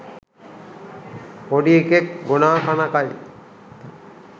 පොඩි එකෙක් 'ගොනා තන කයි'